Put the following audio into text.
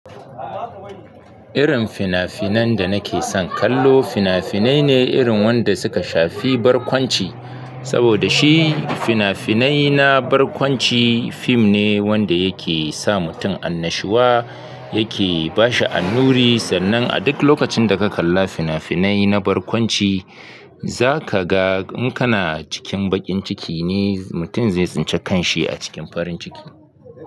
Irin fina-finan da nake son kallo fina-finai ne irin wanda suka shafi barkwanci. Saboda shi fina-finai na barkwanci fim ne wanda yake sa mutum annashuwa, yake ba shi annuri sannan a duk lokacin da ka kalla fina-finai na barkwanci za ka ga in kana cikin baƙin ciki ne mutum zai tsinci kan shi a cikin farin ciki.